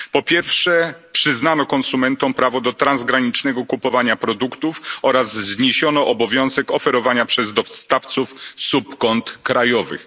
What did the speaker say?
Po pierwsze, przyznano konsumentom prawo do transgranicznego kupowania produktów oraz zniesiono obowiązek oferowania przez dostawców subkont krajowych.